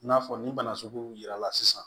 I n'a fɔ nin bana sugu yirala sisan